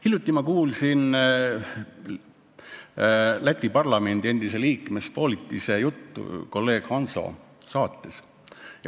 Hiljuti ma kuulsin Läti parlamendi endise liikme Spolitise juttu kolleeg Hanso saates.